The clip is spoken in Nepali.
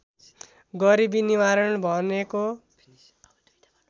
गरिबी निवारण भनेको